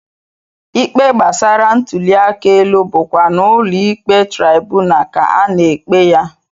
Ikpe gbasara ntụliaka elu bụkwa n'ụlọikpe traibunal ka a na-ekpe ya